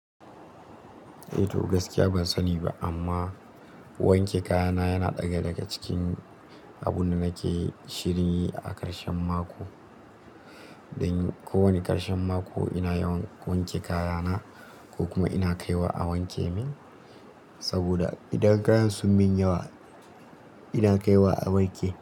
Eh to gaskiya ban sani ba amma wanke kayana yana ɗaya daga cikin abunda nake shirinyi a karshen mako. Dan ko wani karshen mako ina yawan wanke kayana ko kuma ina kaiwa a wanke min. Saboda idan kayan sun min yawa ina kaiwa a wanke.